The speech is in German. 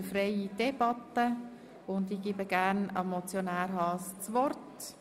Wir führen eine freie Debatte und ich übergebe gerne Grossrat Haas das Wort.